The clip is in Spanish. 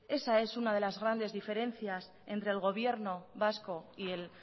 esa es una de las grandes diferencias entre el gobierno vasco y el